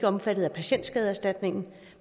omfattet af patienterstatningsordningen